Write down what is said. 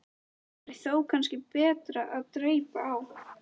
Það væri þó kannski betra að dreypa á.